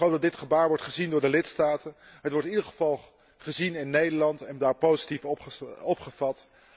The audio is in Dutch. Ik hoop dat dit gebaar wordt gezien door de lidstaten. Het wordt in ieder geval gezien in Nederland en daar positief opgevat.